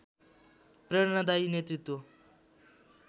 प्रेरणादायी नेतृत्व